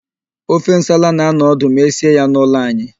Ofe nsala na-anọ ọdụ ma esie ya n'ụlọ anyị.